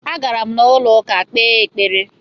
Agara m n'ụlọụka kpee ekpere